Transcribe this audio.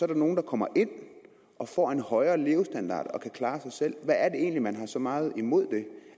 der nogle der kommer ind og får en højere levestandard og kan klare sig selv hvad er det egentlig man har så meget imod det